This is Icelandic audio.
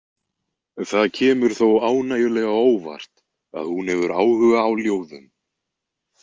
Það kemur þó ánægjulega á óvart að hún hefur áhuga á ljóðum.